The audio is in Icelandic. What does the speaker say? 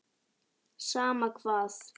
Sama hvað.